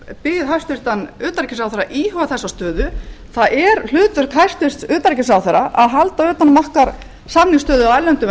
ég bið hæstvirtan utanríkisráðherra að íhuga þessa stöðu það er hlutverk hæstvirts utanríkisráðherra að halda utan um okkar samningsstöðu á erlendum